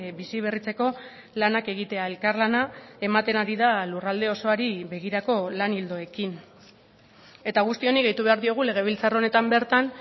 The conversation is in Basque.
biziberritzeko lanak egitea elkarlana ematen ari da lurralde osoari begirako lan ildoekin eta guzti honi gehitu behar diogu legebiltzar honetan bertan